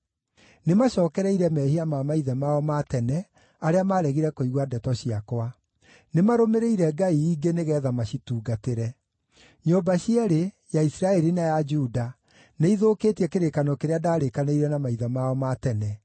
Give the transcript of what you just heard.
Nĩmacookereire mehia ma maithe mao ma tene, arĩa maaregire kũigua ndeto ciakwa. Nĩmarũmĩrĩire ngai ingĩ nĩgeetha macitungatĩre. Nyũmba cierĩ, ya Isiraeli na ya Juda, nĩithũkĩtie kĩrĩkanĩro kĩrĩa ndaarĩkanĩire na maithe mao ma tene.